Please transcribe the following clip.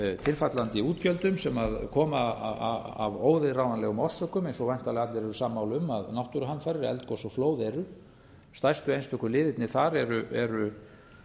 tilfallandi útgjöldum sem koma af óviðráðanlegum orsökum eins og væntanlega allir eru sammála um að náttúruhamfarir eldgos og flóð eru stærstu einstöku liðirnir þar eru